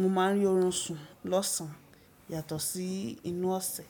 mo máa ń rí oorun sùn lọ́sàn yàtọ̀ sí inú ọ̀sẹ̀.